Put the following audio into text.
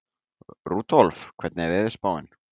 Rudolf, hvernig er veðurspáin?